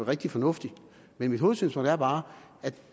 rigtig fornuftigt men mit hovedsynspunkt er bare at